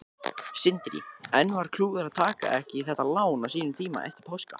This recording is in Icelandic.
Sindri: En var klúður að taka ekki þetta lán á þessum tíma eftir páska?